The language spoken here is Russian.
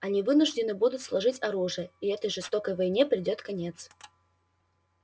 они вынуждены будут сложить оружие и этой жестокой войне придёт конец